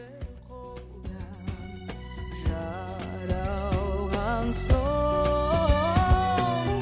қолда жаралған соң